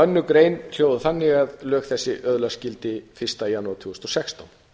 önnur grein hljóðar þannig að lög þessi öðlast gildi fyrsta janúar tvö þúsund og sextán